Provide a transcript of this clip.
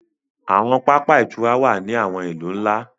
Àwọn pápá ìtura wá ní àwọn ilú nlá